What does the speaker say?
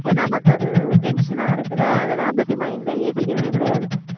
நமக்கு அது tension ஆ இருக்குல்ல அதெல்லாம் பத்தி mind ல ஏத்திக்கிறதே கிடையாது